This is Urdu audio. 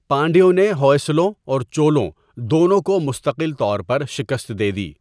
پانڈیوں نے ہوئسلوں اور چولوں دونوں کو مستقل طور پر شکست دے دی۔